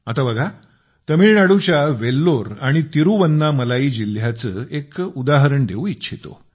आता बघा तामिळनाडूच्या वेल्लोर आणि तिरुवन्नामलाई जिल्ह्याचे एक उदाहरण देऊ इच्छितो